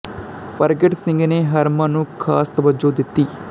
ਪਰਗਟ ਸਿੰਘ ਨੇ ਹਰਮਨ ਨੂੰ ਖ਼ਾਸ ਤਵੱਜੋਂ ਦਿੱਤੀ